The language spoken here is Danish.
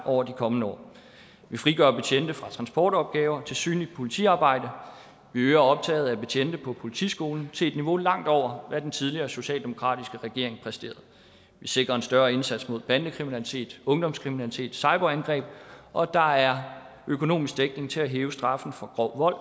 over de kommende år vi frigør betjente fra transportopgaver til synligt politiarbejde vi øger optaget af betjente på politiskolen til et niveau langt over hvad den tidligere socialdemokratiske regering præsterede vi sikrer en større indsats mod bandekriminalitet ungdomskriminalitet cyberangreb og der er økonomisk dækning til at hæve straffen for grov vold